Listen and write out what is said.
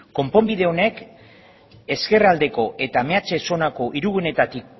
konponbide honek ezkerraldeko eta meatze zonako hirigunetatik